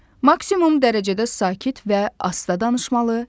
Maksimum dərəcədə sakit və ahəstə danışmalı.